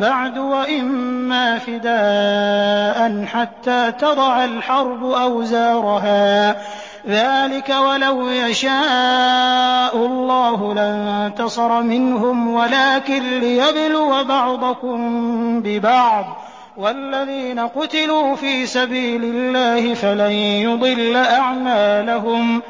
بَعْدُ وَإِمَّا فِدَاءً حَتَّىٰ تَضَعَ الْحَرْبُ أَوْزَارَهَا ۚ ذَٰلِكَ وَلَوْ يَشَاءُ اللَّهُ لَانتَصَرَ مِنْهُمْ وَلَٰكِن لِّيَبْلُوَ بَعْضَكُم بِبَعْضٍ ۗ وَالَّذِينَ قُتِلُوا فِي سَبِيلِ اللَّهِ فَلَن يُضِلَّ أَعْمَالَهُمْ